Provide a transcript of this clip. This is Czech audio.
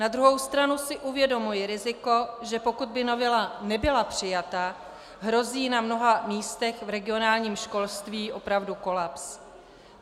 Na druhou stranu si uvědomuji riziko, že pokud by novela nebyla přijata, hrozí na mnoha místech v regionálním školství opravdu kolaps.